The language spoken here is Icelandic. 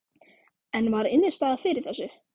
En var innistæða fyrir þessu?